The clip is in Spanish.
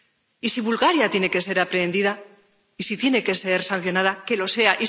Y si Bulgaria tiene que ser aprehendida y si tiene que ser sancionada, que lo sea